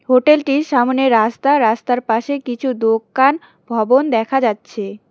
Hotel টির সামোনে রাস্তা রাস্তার পাশে কিছু দোকান ভবন দেখা যাচ্ছে।